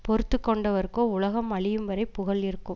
பொறுத்து கொண்டவர்க்கோ உலகம் அழியும் வரை புகழ் இருக்கும்